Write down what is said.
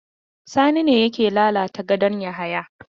Sani ne yake lalata gadon Yahaya?